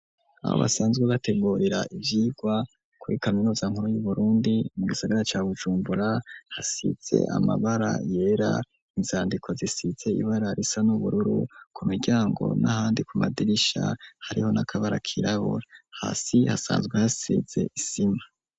Aho basanzwe bategurira ivyigwa kuri kaminuza nkuru y'uburundi, mu gisagara ca bujumbura hasize amabara yera, inzandiko zisize ibara risa n'ubururu, ku miryango n'ahandi ku madirisha hariho n'akabara kirabura, hasi hasanzwe hasize isima.